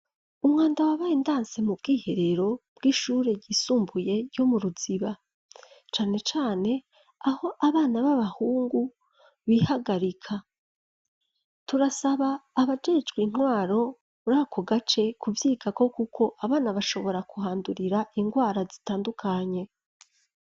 Umwanda wabaye ndanse mu bwiherero bw'ishure ryisumbuye ryo mu ruziba cane cane aho abana b'abahungu bihagarika. Turasaba abajejwe intwaro urako gace kubyikako kuko abana bashobora kuhandurira ingwara zitandukanye.